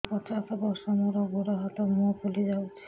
ମୁ ପଚାଶ ବର୍ଷ ମୋର ଗୋଡ ହାତ ମୁହଁ ଫୁଲି ଯାଉଛି